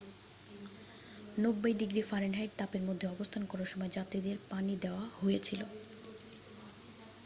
90 degree ফা তাপের মধ্যে অবস্থান করার সময় যাত্রীদের পানি দেয়া হয়েছিল।